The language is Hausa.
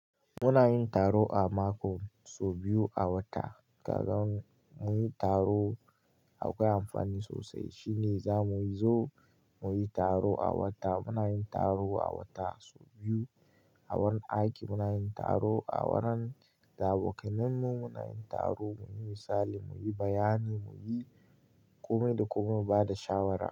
Muna yin taro a mako, sau biyu a wata. Kagan mun taro akwai amfani sosai. Shi ne za mu zo mu yi taro a wata. Muna yin taro a wata sau biyu. A wurin aiki muna yin taro, a wurin da abokanmu muna yin taro, mu yi misali, mu yi bayani, mu yi kome da kome mu ba da shawara.